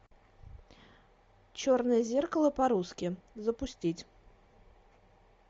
черное зеркало по русски запустить